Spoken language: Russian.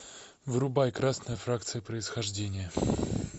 врубай красная фракция происхождение